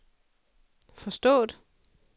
forstået